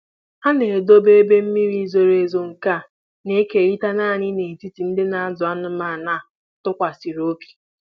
Ha na-edobe ebe mmiri zoro ezo nke a na-ekerịta naanị n'etiti ndị na-azụ anụmanụ a tụkwasịrị obi.